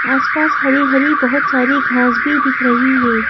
आसपास हरी-हरी बहुत सारी घास भी दिख रही है।